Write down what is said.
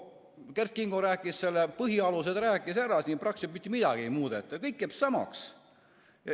Kert Kingo rääkis selle põhialused ära, siin praktiliselt mitte midagi ei muudeta ja kõik jääb samaks.